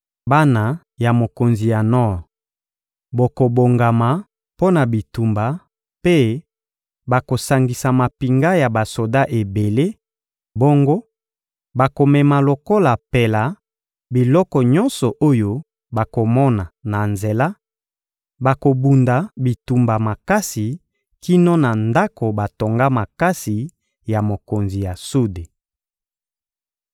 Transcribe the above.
Bana ya mokonzi ya nor bokobongama mpo na bitumba mpe bakosangisa mampinga ya basoda ebele, bongo bakomema lokola mpela biloko nyonso oyo bakomona na nzela; bakobunda bitumba makasi kino na ndako batonga makasi ya mokonzi ya sude.